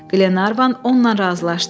Qlenarvan onunla razılaşdı.